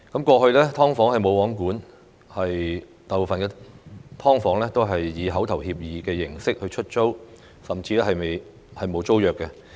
過去"劏房""無皇管"，大部分"劏房"以口頭協議的形式出租，甚至沒有租約。